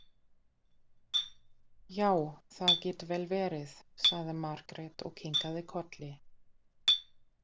Já, það getur vel verið, sagði Margrét og kinkaði kolli.